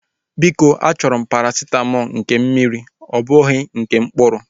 Biko a chọrọ m parasitamọlu nke mmiri ọ bụghị nke mkpụrụ